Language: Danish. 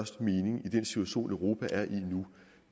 mening i den situation europa er i